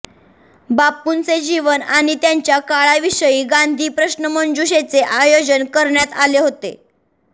बापूंचे जीवन आणि त्यांच्या काळाविषयी गांधी प्रश्नमंजुषेचे आयोजन करण्यात आले होते